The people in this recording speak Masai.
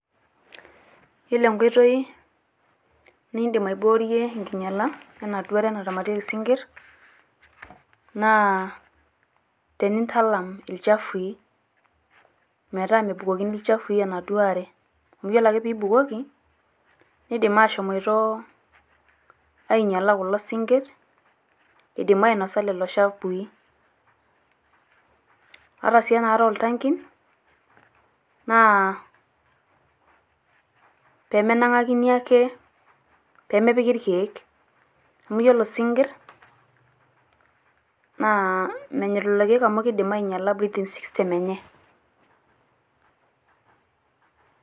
Yiolo enkoitoi nidim aiboorie enkinyiala ena duo are naramatieki isinkir naa tenintalam ilchafui. Metaa mebukokini ilchafui enaduo are amu ore ake pee ibukoki neidim aashomoito ainyiala kulo sinkirr idim ainosa lelo chafui. Hata sii enaare oo ltankin naa pee menang`akini ake, pee mepiki ilkiek amu iyiolo isinkirr naa menyorr lelo kiek amu kidim ainyiala breathing system enye.